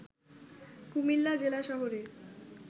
কুমিল্লা জেলা শহরে